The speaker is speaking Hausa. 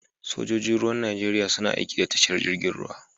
Sojoji Ruwan Najeriya suna aiki da tashar jirgin ruwa.